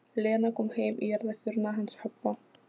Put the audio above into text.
Aðgerðaleysi þeirra er þegar orðið greininni dýrt.